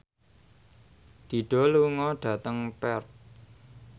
Dido lunga dhateng Perth